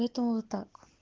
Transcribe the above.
поэтому вот так